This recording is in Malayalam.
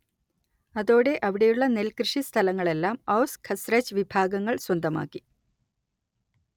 അതോടെ അവിടെയുള്ള നെല്ല് കൃഷി സ്ഥലങ്ങളെല്ലാം ഔസ് ഖസ്റജ് വിഭാഗങ്ങൾ സ്വന്തമാക്കി